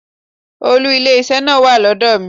Òòlù ilé iṣẹ́ náà wà lọ́dọ̀ mi.